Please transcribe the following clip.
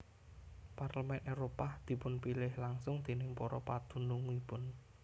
Parlemen Éropah dipunpilih langsung déning para padunungipun